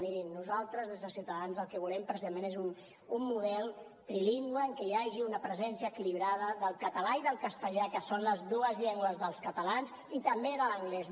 miri nosaltres des de ciutadans el que volem precisament és un model trilingüe en què hi hagi una presència equilibrada del català i del castellà que són les dues llengües dels catalans i també de l’anglès